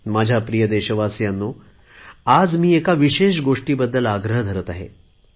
माझ्या प्रिय देशवासीयांनो आज मी एका विशेष गोष्टीबद्दल आग्रह धरत आहे